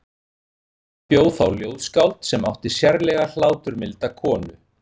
Þar bjó þá ljóðskáld sem átti sérlega hláturmilda konu.